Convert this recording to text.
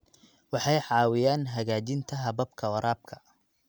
Waxay caawiyaan hagaajinta hababka waraabka.